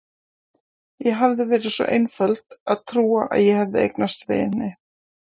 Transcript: Ég hafði verið svo einföld að trúa að ég hefði eignast vini.